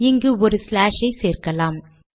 இங்கு ஒரு ஸ்லாஷ் ஐ சேர்க்கலாம்